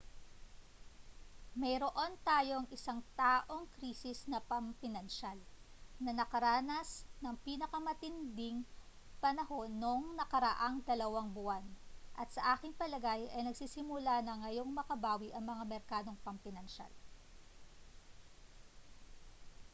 mayroon tayong isang-taong krisis na pampinansyal na nakaranas ng pinakamatindi nitong panahon noong nakaraang dalawang buwan at sa aking palagay ay nagsisimula na ngayong makabawi ang mga merkadong pampinansyal